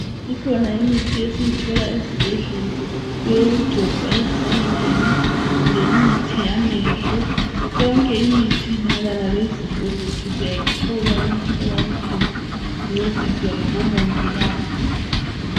Ikhona imithi esiyithola ezibhedlela eyokugcoba ezilondeni kumbe imithi yamehlo. Yonke imithi mayelana lezifo zethu siyayithola emtholampilo sincediswa ngabo mongikazi.